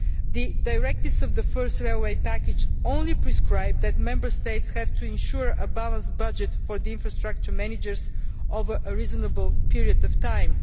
The directives of the first railway package only prescribe that Member States have to ensure a balanced budget for the infrastructure managers over a reasonable period of time.